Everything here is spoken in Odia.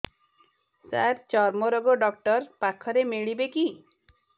ସାର ଚର୍ମରୋଗ ଡକ୍ଟର ପାଖରେ ମିଳିବେ କି